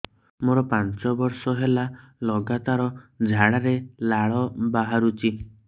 ମୋରୋ ପାଞ୍ଚ ବର୍ଷ ହେଲା ଲଗାତାର ଝାଡ଼ାରେ ଲାଳ ବାହାରୁଚି